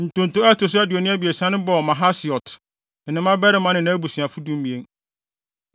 Ntonto a ɛto so aduonu abiɛsa no bɔɔ Mahasiot, ne ne mmabarima ne nʼabusuafo (12)